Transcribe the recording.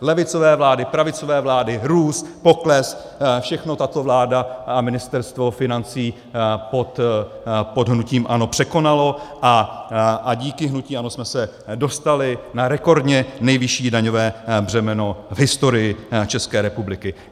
Levicové vlády, pravicové vlády, růst, pokles, všechno tato vláda a Ministerstvo financí pod hnutím ANO překonaly a díky hnutí ANO jsme se dostali na rekordně nejvyšší daňové břemeno v historii České republiky.